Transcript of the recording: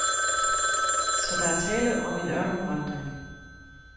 Så der er tale om en ørkenvandring.